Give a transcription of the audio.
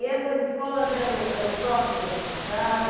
E essas escolas eram eram próximas da sua casa?